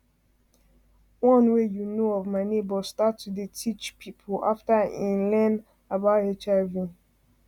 one wey u know of my neighbors start to dey teach people after e like learn about hiv